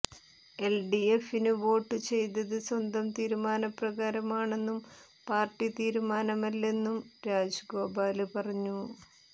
എല്ഡിഎഫിന് വോട്ടു ചെയ്തത് സ്വന്തം തീരുമാനപ്രകാരമാണെന്നും പാര്ട്ടി തീരുമാനമല്ലെന്നും രാജഗോപാല് പറഞ്ഞു